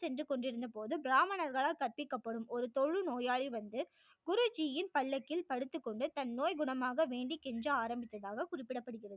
சென்று கொண்டிருந்த போது பிராமணர்களால் கற்பிக்கப்படும் ஒரு தொழு நோயாளி வந்து குரு ஜி யின் பல்லக்கில் படுத்துக்கொண்டு தன்நோய் குணமாக வேண்டி கெஞ்ச ஆரம்பித்ததாக குறிப்பிடப்படுகிறது